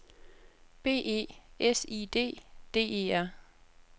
B E S I D D E R